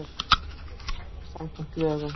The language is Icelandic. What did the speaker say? Nefndin starfar samkvæmt lögum.